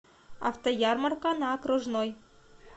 автоярмарка на окружной